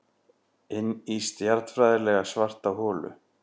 Inní stjarnfræðilega svarta holu.